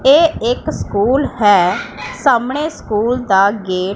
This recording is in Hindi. ए एक स्कूल है सामने स्कूल दा गे--